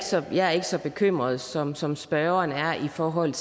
så jeg er ikke så bekymret som som spørgeren er i forhold